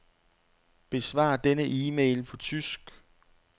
Besvar denne e-mail på tysk.